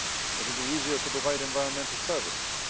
It will be easier to provide environmental services.